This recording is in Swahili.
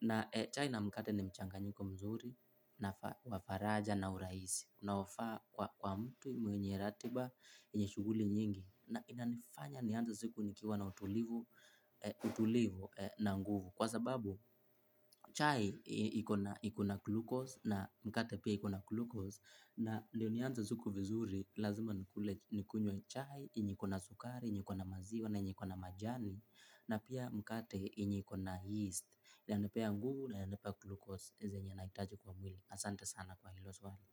na chai na mkate ni mchanganyiko mzuri na wa faraja na urahisi unaofaa kwa mtu mwenye ratiba yenye shughuli nyingi na inanifanya nianze siku nikiwa na utulivu utulivu na nguvu kwa sababu, chai iko na glucose na mkate pia iko na glucose na ndo nianze siku vizuri, lazima nikunywe chai, yenye iko na sukari, yenye iko na maziwa, na yenye iko na majani na pia mkate yenye iko na yeast inanipea nguvu na inanipa glucose saa zenye nahitaji kwa mwili asante sana kwa hilo swali.